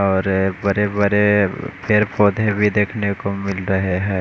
और बड़े बड़े पेड़ पौधे भी देखने को मिल रहे है।